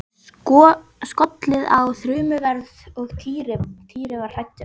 Það var skollið á þrumuveður og Týri var hræddur.